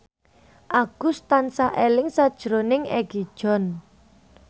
Agus tansah eling sakjroning Egi John